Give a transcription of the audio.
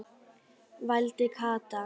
vældi Kata.